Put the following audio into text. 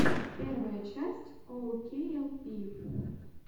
первая часть оукейэлпи